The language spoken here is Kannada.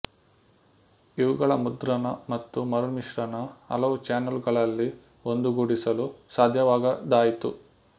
ಇವುಗಳ ಮುದ್ರಣ ಮತ್ತು ಮರುಮಿಶ್ರಣ ಹಲವು ಚಾನಲ್ ಗಳಲ್ಲಿ ಒಂದುಗೂಡಿಸಲು ಸಾಧ್ಯವಾಗದಾಯಿತು